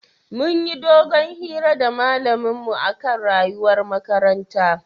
Munyi dogon hira da malamin mu akan rayuwar makaranta